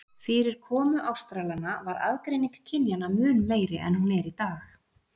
Fyrir komu Ástralanna var aðgreining kynjanna mun meiri en hún er í dag.